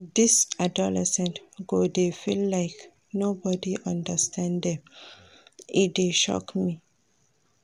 Dese adolescents go dey feel like nobody understand dem, e dey shock me.